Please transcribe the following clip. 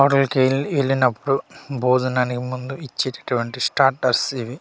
హోటల్కి ఎల్ ఎళ్ళినప్పుడు భోజనానికి ముందు ఇచ్చేటటువంటి స్టాటర్స్ ఇవి.